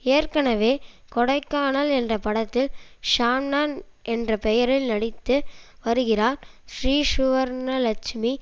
ஏற்கனவே கொடைக்கானல் என்ற படத்தில் ஷாம்னா என்ற பெயரில் நடித்து வருகிறார் ஸ்ரீசுவர்ணலெட்சுமி